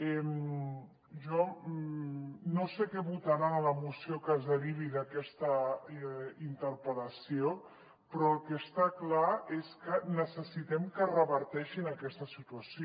jo no sé què votaran a la moció que es derivi d’aquesta interpel·lació però el que està clar és que necessitem que reverteixin aquesta situació